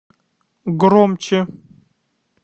громче